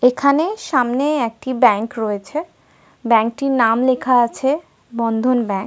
এবং পাশেই ঐ একই ব্যাংকের এ.টি.এম. সেন্টার আছ--